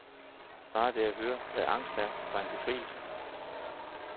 Bare det at høre, hvad angst er, var en befrielse.